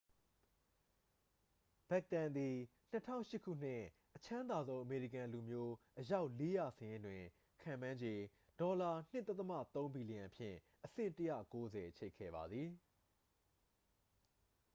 ဘက်တန်သည် 2008 ခုနှစ် အချမ်းသာဆုံးအမေရိကန်လူမျိုး အယောက် 400 စာရင်းတွင် ခန့်မှန်းခြေ $2.3 ဘီလီယံဖြင့် အဆင့် 190 ချိတ်ခဲ့ပါသည်